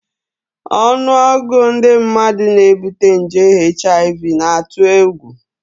Ọnụọgụ ndị mmadụ na-ebute nje HIV na-atụ egwu